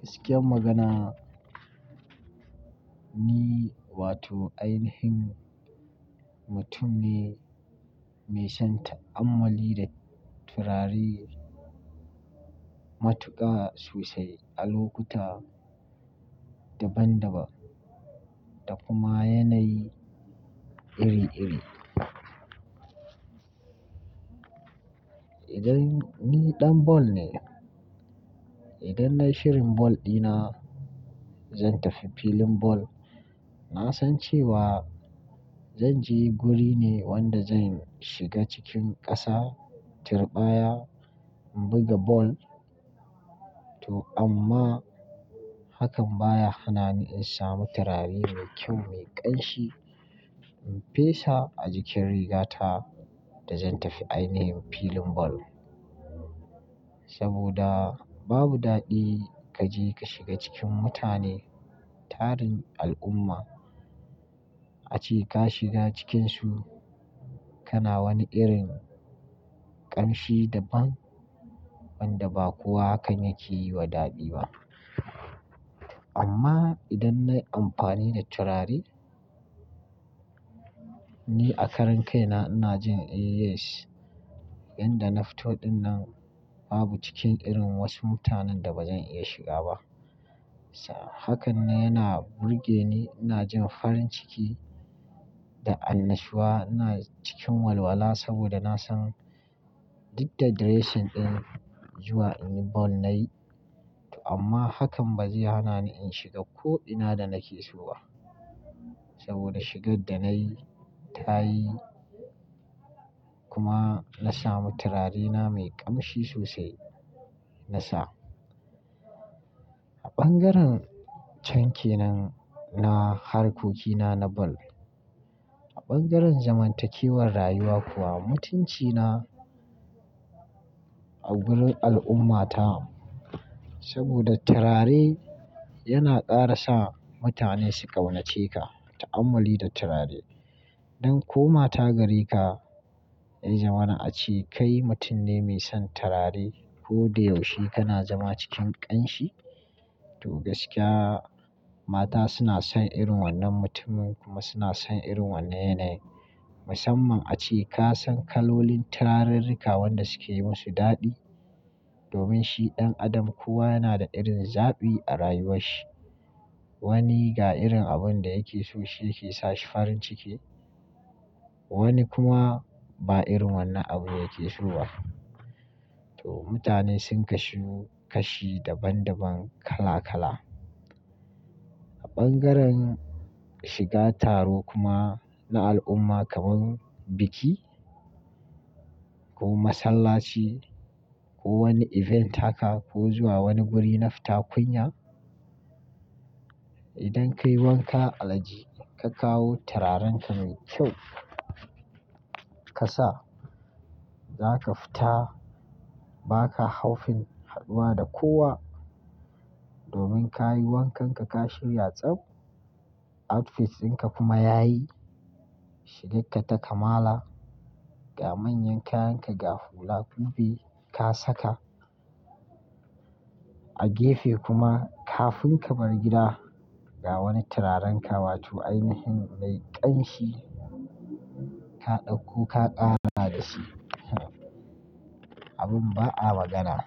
Gaskiyar magana ni wato ainihin mutum ne mai son ta'ammali da turare, matuƙa sosai, a lokuta daban-daban da kuma yanayi iri-iri. Idan ni ɗan ball ne, idan na yi shirin ball ɗina, zan tafi filin ball. Na san cewa zan je guri ne wanda zan shiga cikin ƙasa, tirɓaya, in buga ball. To amma hakan baya hana ni in sami turare mai kyau, mai ƙanshi in fesa a jikin rigata da zan tafi ainihin filin ball. Saboda babu daɗi ka je ka shiga cikin mutane tarin al'umma, ace ka shiga cikinsu kana wani irin ƙanshi daban wanda ba kowa hakan yake yi wa daɗi ba. Amma idan na yi amfani da turare, ni a karan kaina ina jin yes, yanda na fito dinnan babu cikin irin wasu mutanen da ba zan iya shiga ba. Hakan ne yana burge ni, ina jin farin ciki da annashuwa. Ina cikin walwala saboda na san duk da dressing ɗin zuwa in yi ball na yi. To amma hakan ba zai hana ni in shiga ko'ina da nake so ba saboda shigar da na yi ta yi kuma na sami turarena mai ƙanshi sosai na sa. A ɓangaren canke nan na harkokina na ball, a ɓangaren zamantakewar rayuwa kuwa mutuncina a gurin al'ummata saboda turare yana ƙara sa mutane su ƙaunace ka, ta'ammali da turare. Don ko mata gare ka, ya zamana ace kai mutum ne mai son turare. Ko da yaushe kana zama cikin ƙanshi. To gaskiya mata suna son irin wannan mutumin kuma suna son irin wannan yanayi. Musamman ace ka san kalolin turarenrika wanda suke yi musu daɗi. Domin shi ɗan adam kowa yana da irin zaɓi a rayuwarsa. Wani ga irin abunda yake so shi yake sa shi farin ciki, wani kuma ba irin wannan abu yake so ba. To mutane sun kasu kashi daban-daban kala-kala. A ɓangaren shiga taro kuma na al'umma kamar biki ko masallaci ko wani event haka ko zuwa wani guri na fita kunya, idan ka yi wanka alhaji ka kawo turarenka mai kyau ka sa, za ka fita ba ka haufin haduwa da kowa. Domin ka yi wankanka ka shirya tsaf, outfits dinka kuma yayi, shigar ka ta kamala, ga manyan kayanka ga hula kubi ka saka. A gefe kuma kafin ka bar gida ga wani turarenka wato ainihin mai ƙanshi ka ɗauko ka ƙara da shi. Abin ba a magana.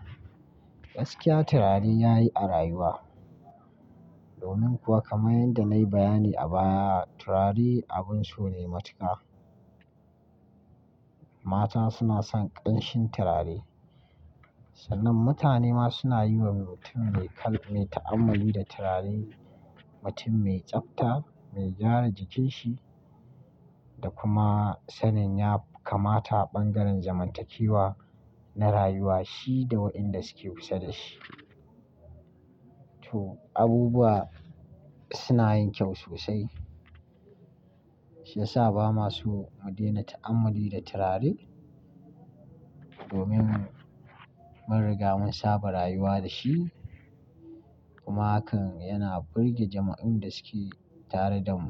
Gaskiya turare yayi a rayuwa. Domin kuwa kamar yadda na yi bayani a baya turare abin so ne matuƙa. Mata suna son ƙanshin turare. Sannan mutane ma suna yi wa mutum mai ta'ammali da turare mutum mai tsafta, mai gyara jikinshi da kuma sanin ya kamata a ɓangaren zamantakewa na rayuwa shi da waɗanda suke kusa da shi. To abubuwa suna yin kyau sosai shiyasa ba ma so mu daina ta'ammali da turare domin mun riga mun saba rayuwa da shi kuma hakan yana burge jama'un da suke tare da mu.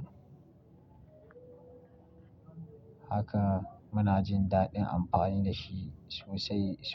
Haka muna jin daɗin amfani da shi sosai sosai.